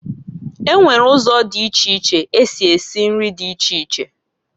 E nwere uzo di iche iche esi esi nri di iche iche.